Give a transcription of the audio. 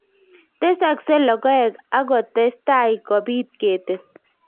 Tesakse logoek ak kotestai kopit ketit